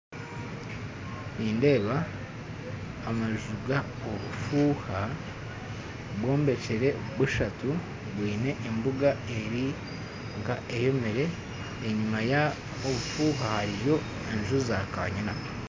Nindeeba amaju ga obufuuha bwombekire bushatu bwine embuga eri k'eyomire enyuma y'obufuuha hariyo amaju ga kaanyina